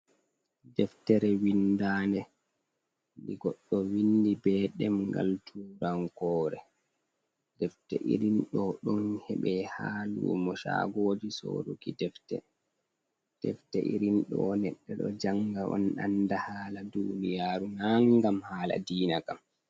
Deftere wiindade ndi goɗɗo wiindi be ɗemgal turankore. Defte irin ɗo ɗon heɓe haa lumo shagoji soruki defte. Defte irin ɗo neɗɗe ɗo janga on anda hala duuniyaru na ngam hala diina kam.